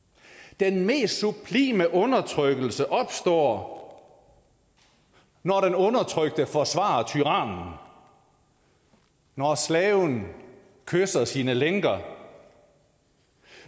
den mest sublime undertrykkelse opstår når den undertrykte forsvarer tyrannen når slaven kysser sine lænker og